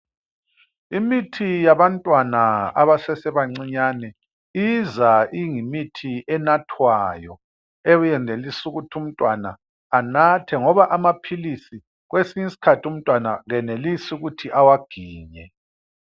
Imithi yabantwana abasese bancinyane iza ingimithi enathwayo, eyenelisa ukuthi umntwana anathe ngoba amaphilisi kwesinye isikhathi umntwana akayenelisi ukuthi awaginye.